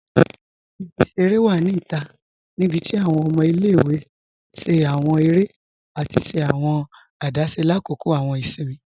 Ibi-iṣẹ̀rẹ̀ wa ni ita nibíti awọn ọmọ ilẹ̀-iwe ṣẹ̀ awọn èrè àti ṣẹ̀ awọn àdásé lákọ́kọ̀ awọn ìṣìnmi.